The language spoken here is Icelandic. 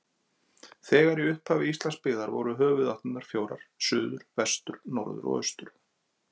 Þegar í upphafi Íslands byggðar voru höfuðáttirnar fjórar: suður, vestur, norður og austur.